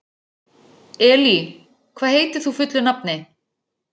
Elí, hvað heitir þú fullu nafni?